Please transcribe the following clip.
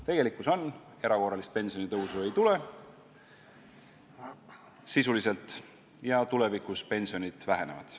Tegelikkus on see, et erakorralist pensionitõusu sisuliselt ei tule ja tulevikus pensionid vähenevad.